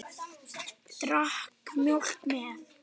Drakk mjólk með.